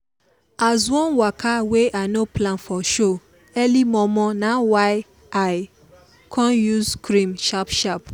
as one waka wey i no plan for show early momo na why i con use cream sharp sharp